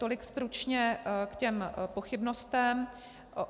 Tolik stručně k těm pochybnostem.